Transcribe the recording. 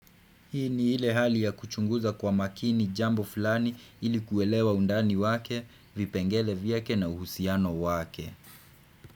Hii ni ile hali ya kuchunguza kwa makini jambo fulani ili kuelewa undani wake, vipengele vyake na uhusiano wake.